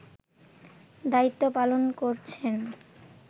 দায়িত্ব পালন করছেন